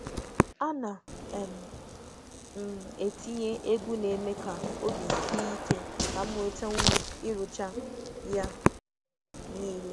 A na m etinye egwu na-eme ka obi sie ike ka m nweta ume ịrụcha ya niile.